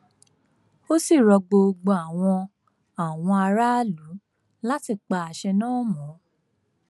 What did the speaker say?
ó sì rọ gbogbo àwọn àwọn aráàlú láti pa àṣẹ náà mọ